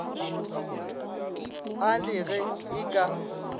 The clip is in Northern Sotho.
a le ge e ka